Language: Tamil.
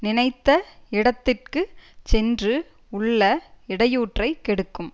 நினைத்த இடத்திற்கு சென்று உள்ள இடையூற்றைக் கெடுக்கும்